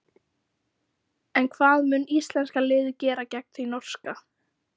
En hvað mun íslenska liðið gera gegn því norska?